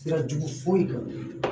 Sira jugu foyi don